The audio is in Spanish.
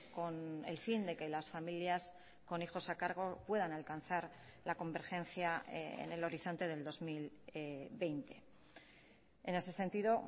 con el fin de que las familias con hijos a cargo puedan alcanzar la convergencia en el horizonte del dos mil veinte en ese sentido